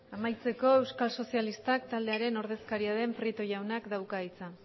amaitzeko euskal sozialistak taldearen ordezkaria den prieto jaunak dauka hitza